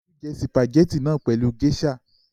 Olú jẹ sìpàgẹ́tì náà pẹ̀lú géíṣà!